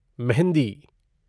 mehndi